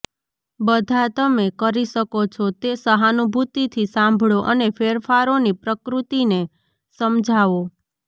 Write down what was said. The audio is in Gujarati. બધા તમે કરી શકો છો તે સહાનુભૂતિથી સાંભળો અને ફેરફારોની પ્રકૃતિને સમજાવો